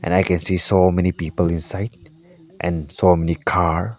i can see so many people inside and so many car.